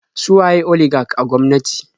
Su waye oligak a gwamnati?